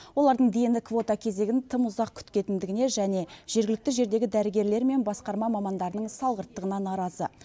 олардың дені квота кезегін тым ұзақ күтетіндігіне және жергілікті жердегі дәрігерлер мен басқарма мамандарының салғырттығына наразы